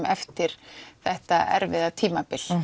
eftir þetta erfiða tímabil